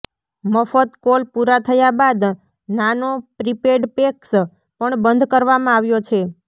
મફત કોલ પૂરા થયા બાદ નાનો પ્રીપેડ પેક્સ પણ બંધ કરવામાં આવ્યો છે